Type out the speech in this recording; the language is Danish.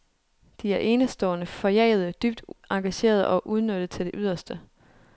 De er enestående, forjagede, dybt engagerede og udnyttet til det yderste.